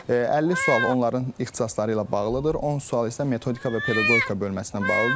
50 sual onların ixtisasları ilə bağlıdır, 10 sual isə metodika və pedaqogika bölməsi ilə bağlıdır.